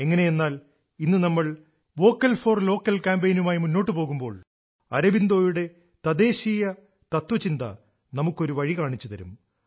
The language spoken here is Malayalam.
എങ്ങനെ എന്നാൽ ഇന്ന് നമ്മൾ വോക്കൽ ഫോർ ലോക്കൽ ക്യാമ്പയിനുമായി മുന്നോട്ടു പോകുമ്പോൾ അരബിന്ദോയുടെ തദ്ദേശീയ തത്വചിന്ത നമുക്ക് വഴി കാണിച്ചുതരും